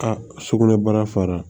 A sugunɛbara fara